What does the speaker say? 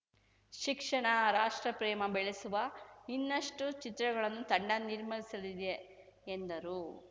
ಶಿಕ್ಷಣ ರಾಷ್ಟ್ರಪ್ರೇಮ ಬೆಳೆಸುವ ಇನ್ನಷ್ಟುಚಿತ್ರಗಳನ್ನು ತಂಡ ನಿರ್ಮಿಸಲಿದೆ ಎಂದರು